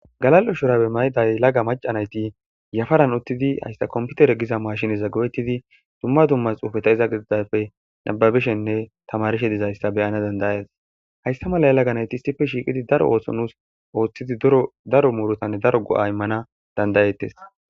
Galal'o shurabe mayday laga macanayti yafaran uttidi haysta komputere giza maashineza go'etidi dumma dummas uufe ta iza gididafe nababishenne tamarishe dizayssa beyana dandayas haysta mala yalaganayti issife shiiqidi daro oohso nuus ooththidi daro muurotanne daro go'a immana dandayettes